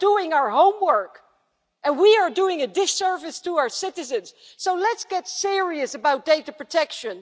They are doing our homework and we are doing a disservice to our citizens. So let's get serious about data protection.